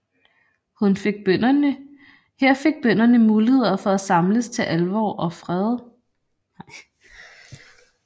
Her fik bønderne muligheder for at samles til alvor og fest